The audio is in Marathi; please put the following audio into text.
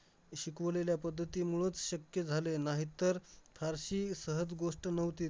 शिकवलेल्या पद्धतीमुळंच शक्य झालंय. नाहीतर थारशी सहज गोष्ट नव्हतीच.